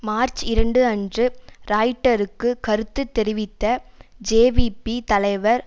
March இரண்டு அன்று ராய்டருக்கு கருத்து தெரிவித்த ஜேவிபி தலைவர்